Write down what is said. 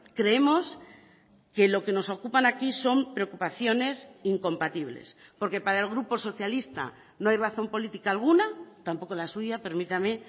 creemos que lo que nos ocupan aquí son preocupaciones incompatibles porque para el grupo socialista no hay razón política alguna tampoco la suya permítame